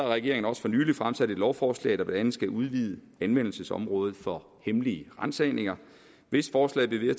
regeringen også for nylig fremsat et lovforslag der blandt andet skal udvide anvendelsesområdet for hemmelige ransagninger hvis forslaget bliver